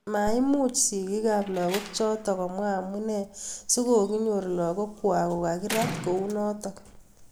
Maimimuch sigik ab lagok chatok komwa amunee si kokinyor lagok kwak kokakirat kunotok.